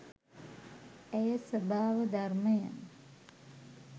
ඇය ස්වභාවධර්මය